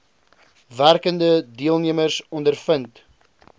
werkende deelnemers ondervind